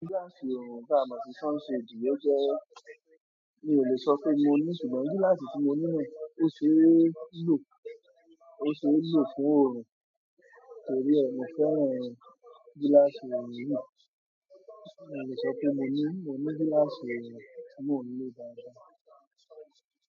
Gíláàsì ọorùn tá mo si sunshade ó jẹ́ mi ò lè sọ pé mo ní, ṣùgbọ́n gíláàsì tí mo ní náà ó ṣe é lò, ó ṣe é lò fún ọorùn torí ẹ mo fẹ́ràn gíláàsì òorun. Mi ò lè sọ pé mo ní, mo ní gíláàsì oorun tí mo ń lò dáadáa.